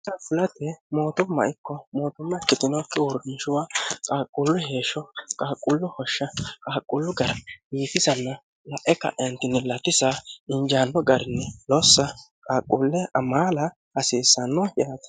ha fulate mootumma ikko mootumma kitinookki huurnishuwa qaaqullu heeshsho qaaqullu hoshsha qaaqullu gara yiitisann lae kanini latisa injaanno garini lossa qaaquulle amaala hasiissanno yaate